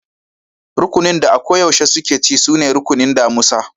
Rukunin da a ko yaushe suke ci sune rukunin damusa.